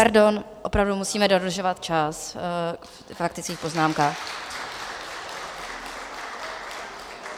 Pardon, opravdu musíme dodržovat čas ve faktických poznámkách.